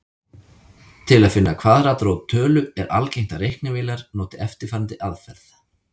Til að finna kvaðratrót tölu er algengt að reiknivélar noti eftirfarandi aðferð.